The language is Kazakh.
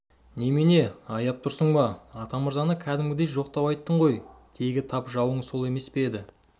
немене аяп тұрсың ба атамырзаны кәдімгідей жоқтау айттың ғой тегі тап жауың сол емес пе еді